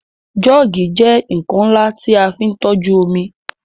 Joogi jẹ́ nkan nla ti a fin toju omi